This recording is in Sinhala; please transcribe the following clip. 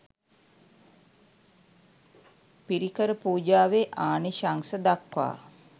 පිරිකර පූජාවේ ආනිශංස දක්වා